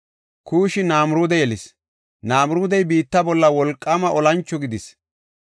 Kuushi Namiruude yelis. Namiruudey biitta bolla wolqaama olancho gidis.